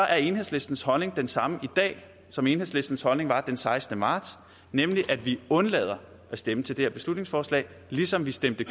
er enhedslistens holdning den samme i dag som enhedslistens holdning var den sekstende marts nemlig at vi undlader at stemme til det her beslutningsforslag ligesom vi stemte